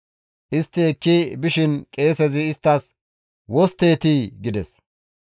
Istti ekki bishin qeesezi isttas, «Wostteetii?» gides.